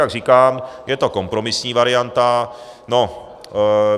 Jak říkám, je to kompromisní varianta.